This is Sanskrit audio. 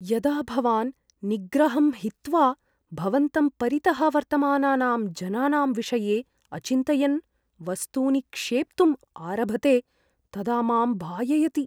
यदा भवान् निग्रहं हित्वा भवन्तं परितः वर्तमानानां जनानां विषये अचिन्तयन् वस्तूनि क्षेप्तुम् आरभते तदा मां भाययति।